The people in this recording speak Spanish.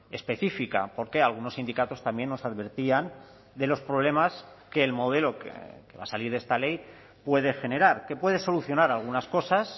específica porque algunos sindicatos también nos advertían de los problemas que el modelo que va a salir de esta ley puede generar que puede solucionar algunas cosas